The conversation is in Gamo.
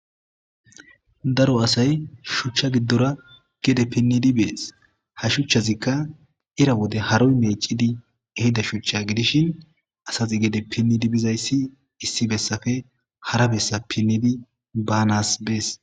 Daro asay shuchcha gidora gede pinnidi bees ha shuchchazika ira wode haroy meecidi ehida shuchcha gidishin astati gede pinnidi bizaysi issi bessape hara bessan pinnidi banaas bees.